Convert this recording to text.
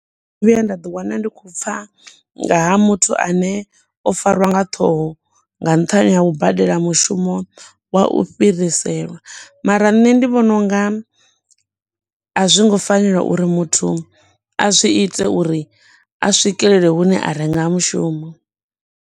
Vhuya nda ḓi wana ndi khou pfa nga ha muthu ane o fariwa nga ṱhoho nga nṱhani ha u badela mushumo wa u fhiriselwa mara nṋe ndi vhona u nga azwi ngo fanela uri muthu a zwi ite uri a swikelele hune a renga mushumo.